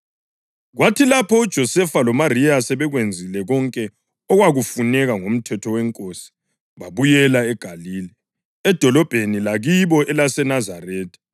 Kwathi lapho uJosefa loMariya sebekwenzile konke okwakufuneka ngoMthetho weNkosi babuyela eGalile, edolobheni lakibo elaseNazaretha.